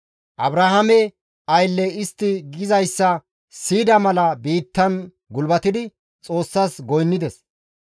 Abrahaame aylley istti gizayssa siyida mala biittan gulbatidi Xoossas goynnides.